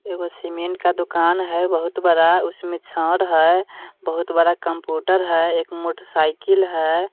एगो सीमेंट का दुकान है बहुत बड़ा उसमें छड़ है बहुत बड़ा कंप्यूटर है एक मोटरसाइकिल है।